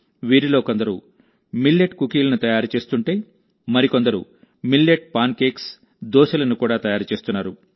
వీరిలో కొందరు మిల్లెట్ కుకీలను తయారు చేస్తుంటే మరికొందరు మిల్లెట్ పాన్ కేక్స్ దోశలను కూడా తయారు చేస్తున్నారు